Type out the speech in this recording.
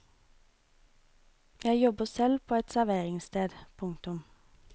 Jeg jobber selv på et serveringssted. punktum